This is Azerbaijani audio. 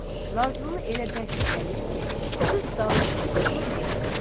deyib Nazlını elə bərk itəlir ki, qız dal üstə yıxılır yerə.